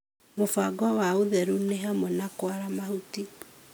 Mũbango wa ũtheru nĩ hamwe na kũara mahuti